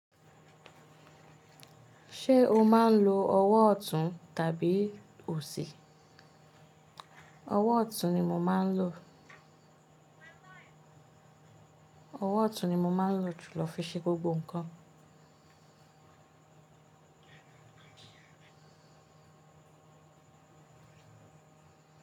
Ṣé o máa ń lo ọwọ́ ọ̀tún tàbí òsì? Ọwọ́ ọ̀tún ni mo máa ń lò. Ọwọ́ ọ̀tún ni mo máa ń lò jùlọ fi ṣe gbogbo ǹkan.